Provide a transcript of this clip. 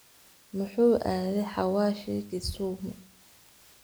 Muxu aadhe hawashi Kisumu.